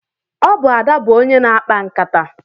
Ọ bụ Ada bụ onye na-akpa nkịta.